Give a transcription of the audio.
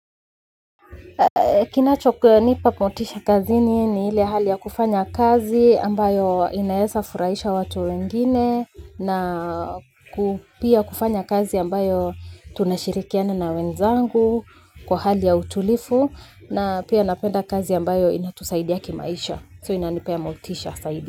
Kinachonipa motisha kazini ni ile hali ya kufanya kazi ambayo inaeza furahisha watu wengine na pia kufanya kazi ambayo tunashirikiana na wenzangu kwa hali ya utulivu na pia napenda kazi ambayo inatusaidia kimaisha so inanipea motisha zaidi.